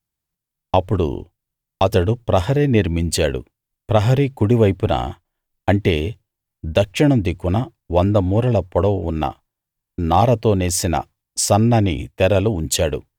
అప్పుడు అతడు ప్రహరీ నిర్మించాడు ప్రహరీ కుడి వైపున అంటే దక్షిణం దిక్కున 100 మూరల పొడవు ఉన్న నారతో నేసిన సన్నని తెరలు ఉంచాడు